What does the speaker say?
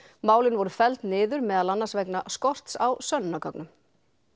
málin voru felld niður meðal annars vegna skorts á sönnunargögnum